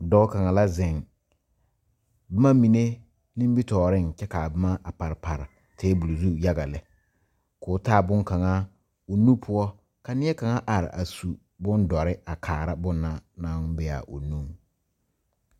Dɔɔ kaŋa la zeŋ boma mine nimitɔɔreŋ kyɛ ka a boma a pare pare tabol zu yaga lɛ k,o taa bonkaŋa o nu poɔ ka neɛ kaŋa are a su bondɔre a kaara bonna naŋ be a o nuŋ.